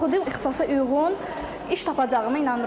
Oxuduq ixtisasa uyğun iş tapacağıma inanıram.